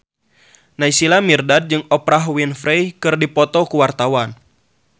Naysila Mirdad jeung Oprah Winfrey keur dipoto ku wartawan